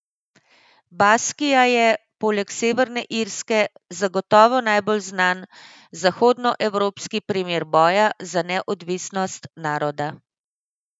Baskija je, poleg Severne Irske, zagotovo najbolj znan zahodnoevropski primer boja za neodvisnost naroda.